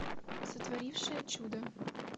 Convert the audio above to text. сотворившая чудо